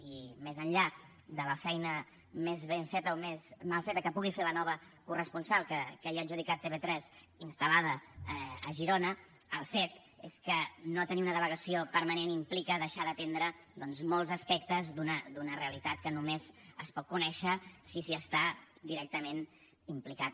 i més enllà de la feina més ben feta o més mal feta que pugui fer la nova corresponsal que ja ha adjudicat tv3 instal·lada a girona el fet és que no tenir una delegació permanent implica deixar d’atendre doncs molts aspectes d’una realitat que només es pot conèixer si s’hi està directament implicat